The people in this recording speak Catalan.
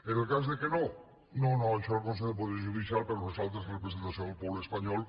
en el cas que no no no això el consell general del poder judicial per nosaltres representació del poble espanyol